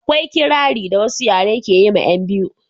akwai kirari da wasu yare ke yi ma 'yan biyu